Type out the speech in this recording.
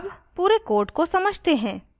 अब पूरे code को समझते हैं